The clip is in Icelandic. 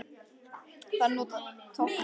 Þar eru notuð tvö tákn, langt strik og stutt strik.